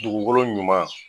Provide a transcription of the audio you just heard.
Dugukolo ɲuman